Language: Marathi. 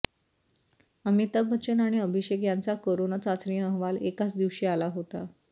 अमिताभ बच्चन आणि अभिषेक यांचा करोना चाचणी अहवाल एकाच दिवशी आला होता